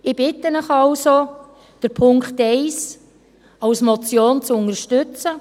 Ich bitte Sie also, den Punkt 1 als Motion zu unterstützen.